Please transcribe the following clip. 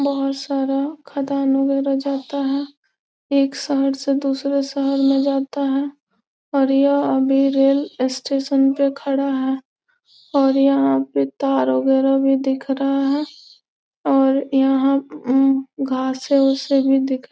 बहोत सारा खादान वगैरह जाता है। एक शहर से दूसरे शहर में जाता है और यह अभी रेल स्टेशन पे खड़ा है और यहां पे थार वगैरह भी दिख रहा है और यहाँ उम घासें उसे भी देख --